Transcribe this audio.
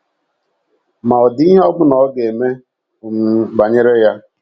Ma ọ̀ dị ihe ọ bụla ọ ga - eme um banyere ya?